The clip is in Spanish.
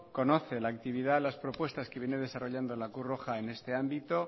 conoce la actividad las propuestas que viene desarrollando la cruz roja en este ámbito